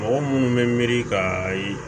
Mɔgɔ minnu bɛ miiri ka a ye